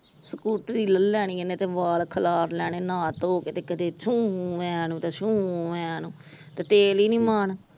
ਸਕੂਟਰੀ ਲਹਿ ਲੈਣੀ ਇਹਨੇ ਤੇ ਵਾਲ ਖਲਾਰ ਲੈਣੇ ਨਹਾ ਤੋਹ ਕੇ ਛੁ ਐ ਨੂੰ ਤੇ ਛੁ ਐ ਨੂੰ ਤੇ ਤੇਲ ਈ ਨੀ ਮਾਣ ।